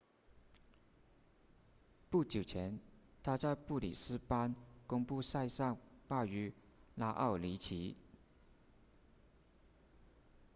不久前他在布里斯班公开赛上败于拉奥尼奇